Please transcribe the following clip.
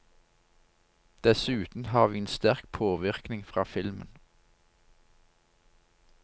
Dessuten har vi en sterk påvirkning fra filmen.